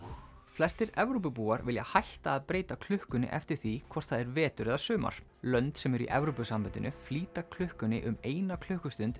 flestir Evrópubúar vilja hætta að breyta klukkunni eftir því hvort það er vetur eða sumar lönd sem eru í Evrópusambandinu flýta klukkunni um eina klukkustund